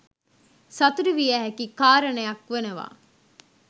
සතුටු විය හැකි කාරණයක් වනවා